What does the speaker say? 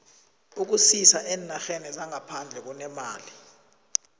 ukusisa eenarheni zangaphandle kunemali